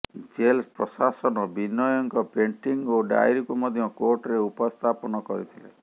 jail ପ୍ରଶାସନ ବିନୟଙ୍କ painting ଓ ଡାଏରୀକୁ ମଧ୍ୟ କୋର୍ଟରେ ଉପସ୍ଥାପନ କରିଥିଲେ